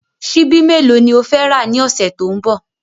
Ṣíbí mélòó ni o fẹ́ rà ní ọ̀sẹ̀ tó ń bọ̀?